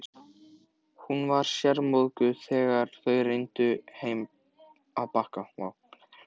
Hún var sármóðguð þegar þau renndu heim að Bakka.